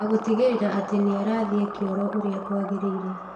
Na gũtigĩrĩra atĩ nĩ arathiĩ kĩoro ũrĩa kwagĩrĩire